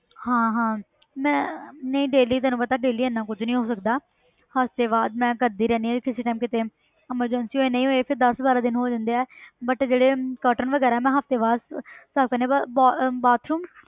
ਹਾਂ ਹਾਂ ਮੈਂ ਨਹੀਂ daily ਤੈਨੂੰ ਪਤਾ daily ਇੰਨਾ ਕੁੱਝ ਨੀ ਹੋ ਸਕਦਾ ਹਫ਼ਤੇ ਬਾਅਦ ਮੈਂ ਕਰਦੀ ਰਹਿੰਦੀ ਹਾਂ ਕਿਸੇ time ਕਿਤੇ emergency ਹੋਏ ਨਹੀਂ ਹੋਏ ਫਿਰ ਦਸ ਬਾਰਾਂ ਦਿਨ ਹੋ ਜਾਂਦੇ ਹੈ but ਜਿਹੜੇ curtain ਵਗ਼ੈਰਾ ਮੈਂ ਹਫ਼ਤੇ ਬਾਅਦ ਸਾਫ਼ ਕਰਦੀ ਹਾਂ ਪਰ ਬਾ~ ਅਹ bathroom